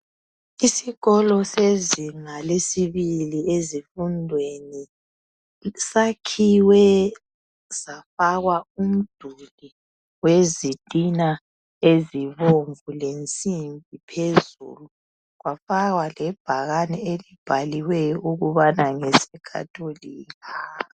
Isikolo sezinga lesibili ezifundweni sakhiwe safakwa umduli wezitina ezibomvu le nsimbi phezulu kwafakwa lebhakani elibhaliweyo ukubana ngese catholika